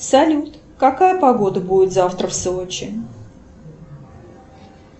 салют какая погода будет завтра в сочи